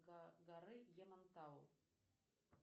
горы ямантау